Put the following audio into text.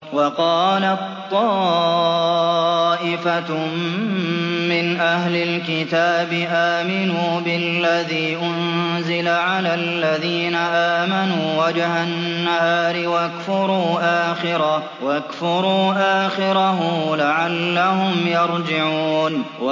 وَقَالَت طَّائِفَةٌ مِّنْ أَهْلِ الْكِتَابِ آمِنُوا بِالَّذِي أُنزِلَ عَلَى الَّذِينَ آمَنُوا وَجْهَ النَّهَارِ وَاكْفُرُوا آخِرَهُ لَعَلَّهُمْ يَرْجِعُونَ